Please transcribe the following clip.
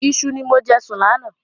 Iṣu ni mo jẹ sùn láánaà